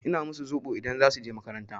Ina musu zoɓo idan za su je makaranta.